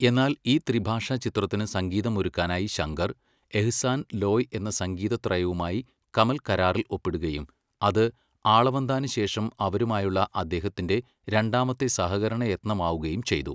എന്നാൽ, ഈ ത്രിഭാഷാ ചിത്രത്തിന് സംഗീതം ഒരുക്കാനായി ശങ്കർ, എഹ്സാൻ, ലോയ് എന്ന സംഗീത ത്രയവുമായി കമൽ കരാറിൽ ഒപ്പിടുകയും അത് ആളവന്താന് ശേഷം അവരുമായുള്ള അദ്ദേഹത്തിൻ്റെ രണ്ടാമത്തെ സഹകരണ യത്നമാവുകയും ചെയ്തു.